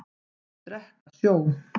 Þeir drekka sjó.